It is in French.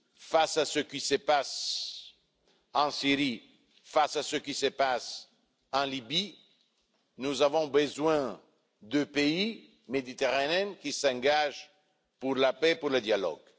Face à ce qui se passe en Syrie et en Libye, nous avons besoin de pays méditerranéens qui s'engagent pour la paix et le dialogue.